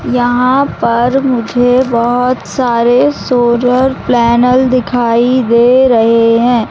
यहां पर मुझे बहुत सारे सोलर प्लेनेल दिखाई दे रहे हैं।